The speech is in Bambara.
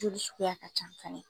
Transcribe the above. Joli suguya ka can fanɛ.